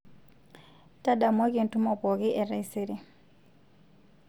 ntadamuaki entumo pooki e taisere